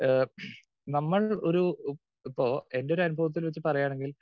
speaker 2 ഏഹ് നമ്മൾ ഒരു ഇപ്പോ എൻറെ ഒരു അനുഭവത്തിൽ വെച്ച് പറയുകയാണെങ്കിൽ